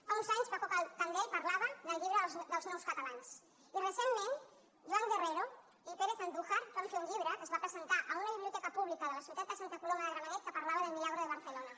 fa uns anys paco candel parlava en un llibre d’ els nous catalans i recentment joan guerrero i pérez andújar van fer un llibre que es va presentar a una biblioteca pública de la ciutat de santa coloma de gramenet que parlava del milagro de barcelona